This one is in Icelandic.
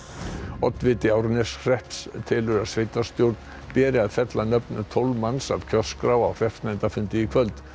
oddviti Árneshrepps telur að sveitarstjórn beri að fella nöfn tólf manns af kjörskrá á hreppsnefndarfundi í kvöld